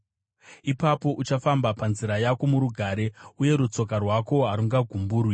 Ipapo uchafamba panzira yako murugare, uye rutsoka rwako harungagumburwi;